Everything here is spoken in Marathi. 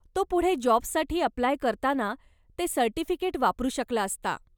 तो पुढे जॉबसाठी अप्लाय करताना ते सर्टिफिकेट वापरू शकता असला.